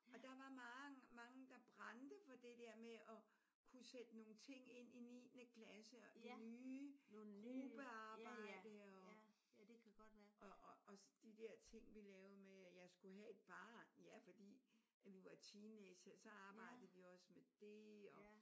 Og der var mange mange der brændte for det der med at kunne sætte nogle ting ind i niende klasse og det nye gruppearbejde og og og de der ting vi lavede med at jeg skulle have et barn. Ja fordi at vi var teenagere så arbejdede vi også med det